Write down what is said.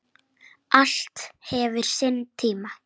Allt hefur sinn tíma